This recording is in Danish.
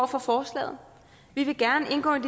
for forslaget vi vil gerne indgå i